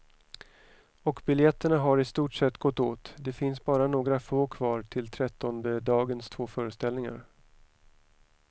Och biljetterna har i stort sett gått åt, det finns bara några få kvar till trettondedagens två föreställningar.